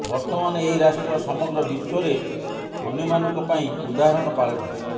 ବର୍ତ୍ତମାନ ଏଇ ରାଷ୍ଟ୍ର ସମଗ୍ର ବିଶ୍ବରେ ଅନ୍ୟମାନଙ୍କ ପାଇଁ ଉଦାହରଣ ପାଲଟିଛି